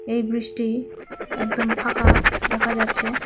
এই ব্রিজটি একদম ফাঁকা দেখা যাচ্ছে।